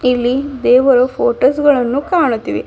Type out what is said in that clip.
ಇಲ್ಲಿ ದೇವರ ಫೋಟೋಸ್ ಗಳನ್ನು ಕಾಣುತಿವೆ.